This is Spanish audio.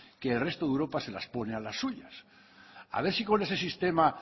que el resto de europa se las pone a las suyas a ver si con ese sistema